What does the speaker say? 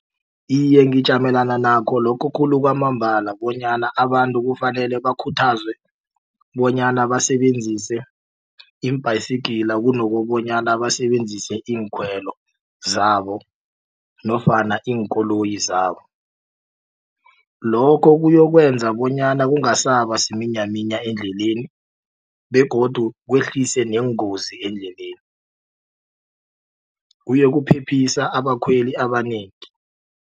Iye ngijamelana nakho lokho khulu kwamambala bonyana abantu kufanele bakhuthazwe bonyana basebenzise iimbhayisigila kunokobonyana basebenzise iinkhwelo zabo nofana iinkoloyi zabo lokho kuyokwenza bonyana kungasaba siminyaminya endleleni begodu kwehlise neengozi eendleleni kuyokuphephisa abakhweli abanengi.